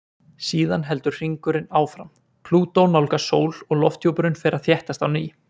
Síðan heldur hringurinn áfram, Plútó nálgast sól og lofthjúpurinn fer að þéttast á ný.